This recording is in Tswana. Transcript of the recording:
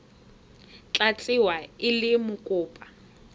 tla tsewa e le mokopa